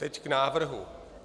Teď k návrhu.